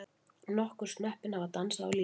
Nokkur snöppin hafa dansað á línunni.